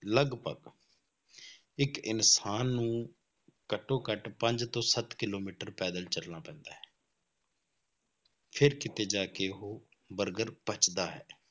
ਲਗਪਗ ਇੱਕ ਇਨਸਾਨ ਨੂੰ ਘੱਟੋ ਘੱਟ ਪੰਜ ਤੋਂ ਸੱਤ ਕਿੱਲੋਮੀਟਰ ਪੈਦਲ ਚੱਲਣਾ ਪੈਂਦਾ ਹੈ ਫਿਰ ਕਿਤੇ ਜਾ ਕੇ ਉਹ ਬਰਗਰ ਪੱਚਦਾ ਹੈ।